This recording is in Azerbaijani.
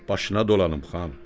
Başına dolanım, xan.